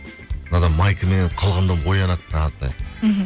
мынадан майкамен қылғынып оянады таң атпай мхм